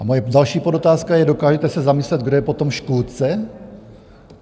A moje další podotázka je: Dokážete se zamyslet, kdo je potom škůdce?